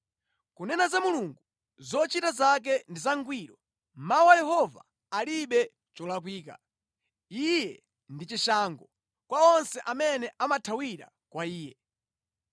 “Kunena za Mulungu, zochita zake ndi zangwiro; mawu a Yehova alibe cholakwika. Iye ndi chishango kwa onse amene amathawira kwa iye.